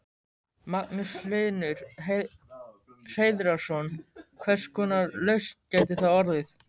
Magnús Hlynur Hreiðarsson: Hvers konar lausn gæti það orðið?